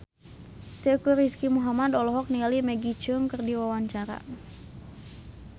Teuku Rizky Muhammad olohok ningali Maggie Cheung keur diwawancara